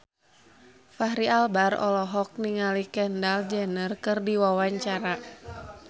Fachri Albar olohok ningali Kendall Jenner keur diwawancara